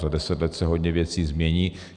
Za deset let se hodně věcí změní.